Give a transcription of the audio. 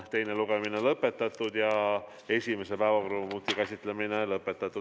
Teine lugemine on lõpetatud ja esimese päevakorrapunkti käsitlemine samuti.